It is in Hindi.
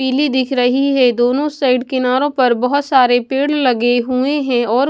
पीली दिख रही है दोनों साइड किनारों पर बहुत सारे पेड़ लगे हुए हैं और--